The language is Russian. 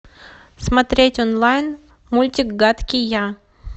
смотреть онлайн мультик гадкий я